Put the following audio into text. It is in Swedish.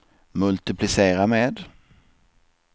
multiplicera med